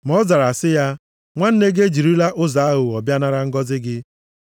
Ma ọ zara sị ya, “Nwanne gị ejirila ụzọ aghụghọ bịa nara ngọzị gị.”